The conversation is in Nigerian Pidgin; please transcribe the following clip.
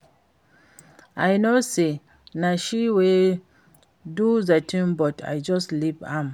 I know say na she wey do the thing but I just leave am